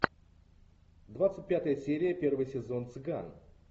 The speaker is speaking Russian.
двадцать пятая серия первый сезон цыган